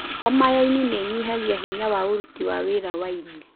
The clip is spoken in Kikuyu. Homa ya ini nĩinyihagia na hinya ũruti wa wĩra wa ini.